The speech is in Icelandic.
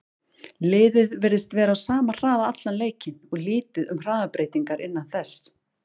Liðið virtist vera á sama hraða allan leikinn og lítið um hraðabreytingar innan þess.